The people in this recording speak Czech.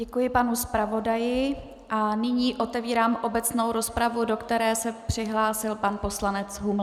Děkuji panu zpravodaji a nyní otevírám obecnou rozpravu, do které se přihlásil pan poslanec Huml.